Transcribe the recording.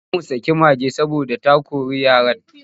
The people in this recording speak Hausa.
Za mu saki mage saboda ta kori yaran.